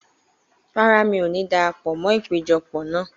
Rárá, mi ò ní darapọ̀ mọ́ ìpéjọpọ̀ náà.